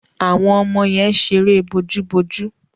Àwọn ọmọ yẹn ṣeré bojúbojú.